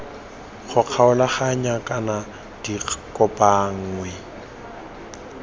go kgaoganngwa kana di kopanngwe